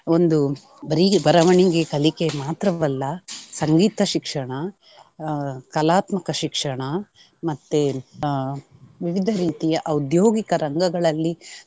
ಒಂದು ಬರಿ ಬರವಣಿಗೆ ಕಲಿಕೆ ಮಾತ್ರವಲ್ಲ ಸಂಗೀತ ಶಿಕ್ಷಣ ಆಹ್ ಕಲಾತ್ಮಕ ಶಿಕ್ಷಣ ಮತ್ತೆ ಆಹ್ ವಿವಿಧ ರೀತಿಯ ಔದ್ಯೋಗಿಕ ರಂಗಗಳಲ್ಲಿ